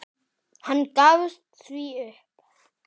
Hann gafst því upp.